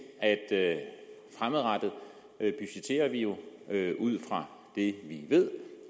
at fremadrettet budgetterer vi jo ud fra det vi ved